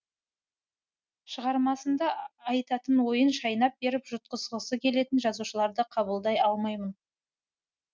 шығармасында айтатын ойын шайнап беріп жұтқызғысы келетін жазушыларды қабылдай алмаймын